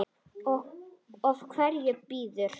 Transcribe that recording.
Og hver býður?